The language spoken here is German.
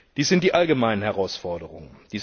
Dies sind die allgemeinen Herausforderungen.